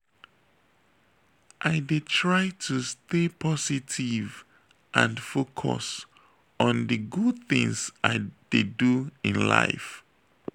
i dey try to stay positive and focus on di good things i dey do in life.